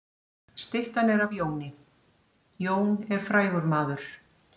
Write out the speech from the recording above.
Styttan er af Jóni. Jón er frægur maður.